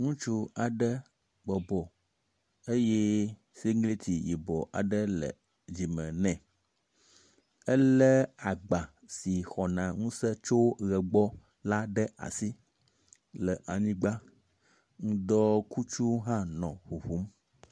Ŋutsu aɖe bɔbɔ eye sigliti yibɔ aɖe le dzime nɛ. Ele agba si xɔna ŋuse tso ʋe gbɔ la ɖe asi le anyigba. Ŋdɔkutsu hã nɔ ŋuŋum.